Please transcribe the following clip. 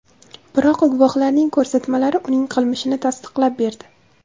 Biroq guvohlarning ko‘rsatmalari uning qilmishini tasdiqlab berdi.